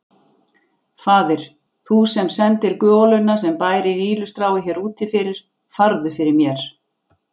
Faðir, þú sem sendir goluna sem bærir ýlustráið hér úti fyrir, farðu fyrir mér.